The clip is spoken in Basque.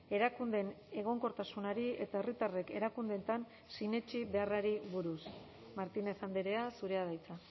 erakundeen egonkortasunari eta herritarrek erakundeetan sinetsi beharrari buruz martínez andrea zurea da hitza